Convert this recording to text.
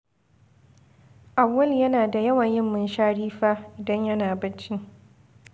Awwalu yana da yawan yin munshari fa idan yana bacci.